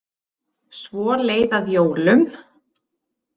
Svo leið að jólum.